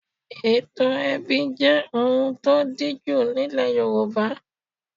Ètò ẹbí jẹ́ ohun tí ó díjú nílẹ̀ Yorùbá.